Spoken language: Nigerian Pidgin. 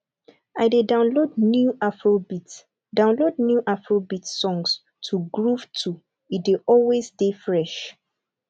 i dey download new afrobeat download new afrobeat songs to groove to e dey always dey fresh